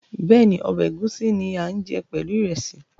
Bẹ́ẹ̀ni, ọbẹ̀ ẹ̀gúsí ni a ń jẹ pẹ̀lú ìrẹsì